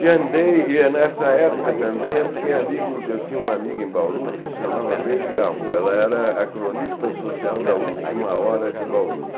E andei, e é nessa época também eu fiquei amigo, eu tinha uma amiga em Bauru que se chamava Baby Garroux, ela era a cronista social da Última Hora de Bauru.